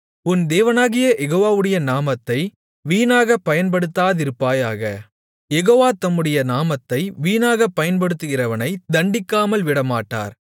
உன் தேவனாகிய யெகோவாவுடைய நாமத்தை வீணாகப் பயன்படுத்தாதிருப்பாயாக யெகோவா தம்முடைய நாமத்தை வீணாகப் பயன்படுத்துகிறவனைத் தண்டிக்காமல் விடமாட்டார்